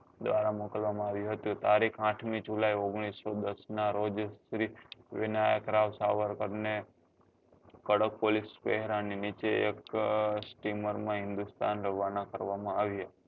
દ્વારા મોકલવા માં આવ્યું હતું તારીખ આઠમી જુલાઈ ઓગણીસો દસ નાં રોજ શ્રી વિનાયક રાવ સાવરકર ને કડક police પહેરા ની નીચે એક steamer માં હિન્દુસ્તાન રવાના કરવા માં આવ્યા